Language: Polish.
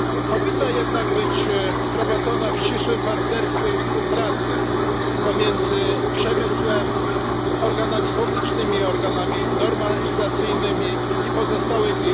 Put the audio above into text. Powinna jednak być prowadzona w ścisłym partnerstwie i współpracy pomiędzy przemysłem, organami publicznymi, organami normalizacyjnymi i pozostałymi.